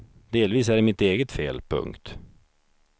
Delvis är det mitt eget fel. punkt